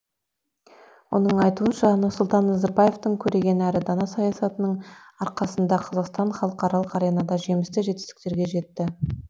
оның айтуынша нұрсұлтан назарбаевтың көреген әрі дана саясатының арқасында қазақстан халықаралық аренада жемісті жетістіктерге жетті